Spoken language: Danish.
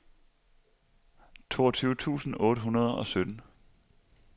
toogtyve tusind otte hundrede og sytten